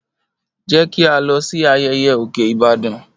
Jẹ ki a lọ si ayẹyẹ Oke Ibadan.